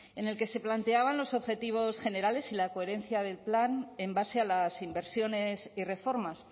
en el que se planteaban los objetivos generales y la coherencia del plan en base a las inversiones y reformas